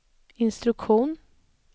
instruktion